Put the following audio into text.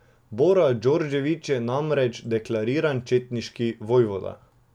Bora Djordjević je namreč deklariran četniški vojvoda.